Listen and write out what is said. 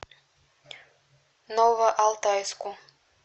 новоалтайску